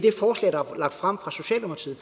lagt frem af socialdemokratiet